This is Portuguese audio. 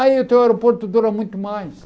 Aí o teu aeroporto dura muito mais.